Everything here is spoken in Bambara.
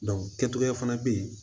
kɛcogoya fana bɛ yen